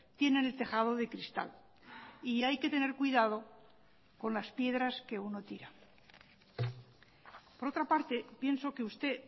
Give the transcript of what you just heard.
tienen el tejado de cristal y hay que tener cuidado con las piedras que uno tira por otra parte pienso que usted